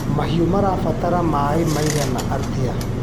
Mahiũ marabatara maĩ maigana atĩa.